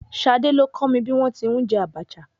Ṣadé ni ó kọ́ mi bí wọn ti ń jẹ Abacha.